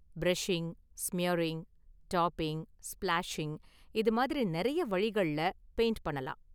Brushing, smearing, dabbing, splashing இதுமாதிரி நெறைய வழிகள்ல பெயிண்ட் பண்ணலாம்.